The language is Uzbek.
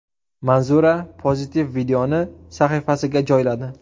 Manzura pozitiv videoni sahifasiga joyladi.